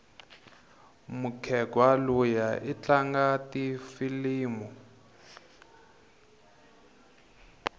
mukhegwa luya itlanga tifilimu